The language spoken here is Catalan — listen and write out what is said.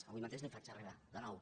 avui mateix li ho faig arribar de nou